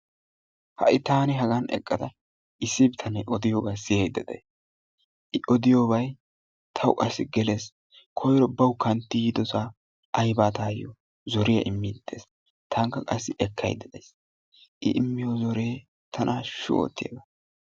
ha'i taani haga eqqada issi bitanee odiyoogaa siyaydda de'ays. i odiyoobay tawu qassi gelees. koyro bawu kantti yiidosaa aybaa taayoo zorriyaa immiidi de'ees. qassi i immiyiyoo zorree tana haashshu oottiyaagaa.